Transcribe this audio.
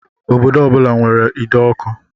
Obodo ọ bula nwèrè ide ọkụ.